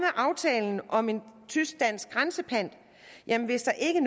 aftalen om en tysk dansk grænsepant hvis der ikke